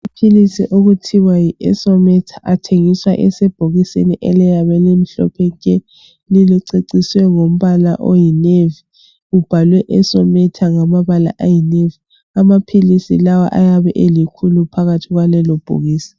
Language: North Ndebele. Amaphilisi okuthiwa yi esometa athengiswa esebhokisini eliyabe limhlophe nke liceciswe ngamabala ayi nevy ubhalwe esometa ngamabala ayinevy amaphilisi lawo ayabe elikhulu phakathi kwalelobhokisi